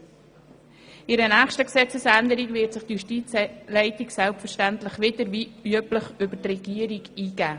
Bei einer nächsten Gesetzesänderung wird sich die Justizleitung selbstverständlich wieder wie üblich über die Regierung einbringen.